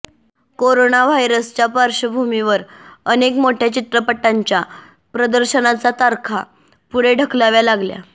corona व्हायरसच्या पार्श्वभूमीवर अनेक मोठ्या चित्रपटांच्या प्रदर्शनाचा तारखा पुढे ढकलाव्या लागल्या